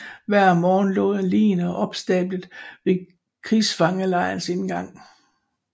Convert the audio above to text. Hver morgen lå ligene opstablet ved krigsfangelejrens indgang